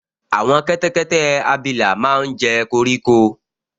Àwọn kẹ́tẹ́kẹ́tẹ́ abilà máa n jẹ koríko